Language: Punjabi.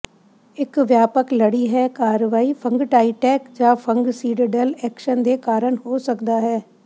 ਇੱਕ ਵਿਆਪਕ ਲੜੀ ਹੈ ਕਾਰਵਾਈ ਫੰਗਟਾਈਟੈਕ ਜਾਂ ਫੰਗਸੀਡਡਲ ਐਕਸ਼ਨ ਦੇ ਕਾਰਨ ਹੋ ਸਕਦਾ ਹੈ